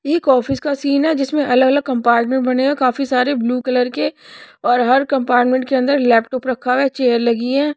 एक ऑफिस का सीन है जिसमें अलग अलग कंपार्टमेंट बने है काफी सारे ब्लू कलर के और हर कंपार्टमेंट के अंदर लैपटॉप रखा हुआ है चेयर लगी है।